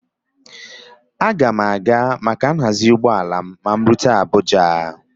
Aga m a ga maka nhazi ụgbọala m ma m rute Abuja